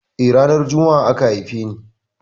Eh, ranar Jumma'a aka haife ni.